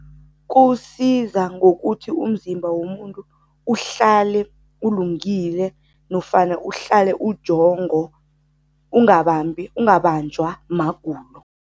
Kuwusiza ngokuthi umzimba womuntu uhlale ulungile nofana uhlale ujongo, ungabambi, ungabanjwa magulo.